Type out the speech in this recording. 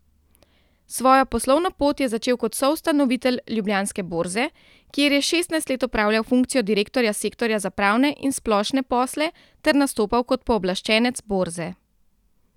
Svojo poslovno pot je začel kot soustanovitelj Ljubljanske borze, kjer je šestnajst let opravljal funkcijo direktorja sektorja za pravne in splošne posle ter nastopal kot pooblaščenec borze.